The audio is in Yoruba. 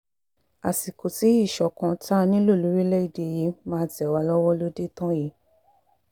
àsìkò tí ìṣọ̀kan tá a nílò lórílẹ̀‐èdè yìí lórílẹ̀‐èdè yìí máa tẹ̀ wá lọ́wọ́ ló dé tán yìí